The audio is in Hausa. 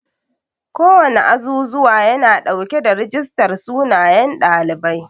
Kowana azuzuwa yana dauke da rijistar sunayen ɗalibai.